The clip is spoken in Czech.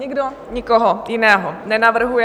Nikdo nikoho jiného nenavrhuje.